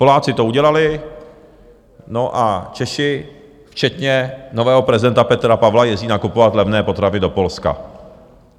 Poláci to udělali, no a Češi, včetně nového prezidenta Petra Pavla, jezdí nakupovat levné potraviny do Polska.